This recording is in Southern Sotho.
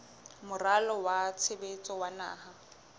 moralo wa tshebetso wa naha